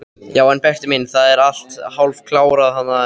Já en Berti minn, það er allt hálfkarað niðri.